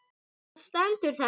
Þar stendur þetta